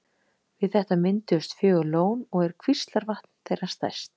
Við þetta mynduðust fjögur lón og er Kvíslavatn þeirra stærst.